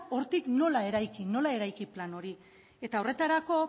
hortik nola eraiki nola eraiki plan hori eta horretarako